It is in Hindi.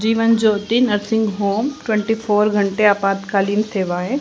जीवन Jyoti nursing home twenty four घंटे आपातकालीन सेवाएं--